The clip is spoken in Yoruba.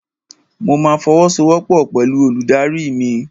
Mo ma fọwọ́sowọ́pọ̀ pẹ̀lú olùdarí mi.